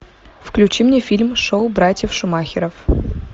включи мне фильм шоу братьев шумахеров